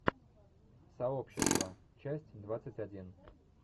сообщество часть двадцать один